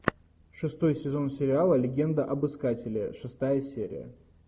шестой сезон сериала легенда об искателе шестая серия